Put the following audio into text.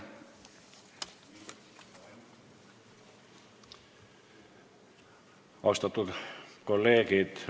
Austatud kolleegid!